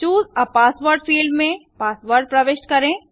चूसे आ password field में password प्रविष्ट करें